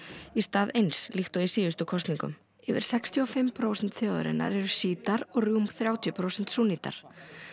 í stað eins líkt og í síðustu kosningum yfir sextíu og fimm prósent þjóðarinnar eru og rúm þrjátíu prósent súnnítar